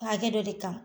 Hakɛ dɔ de kan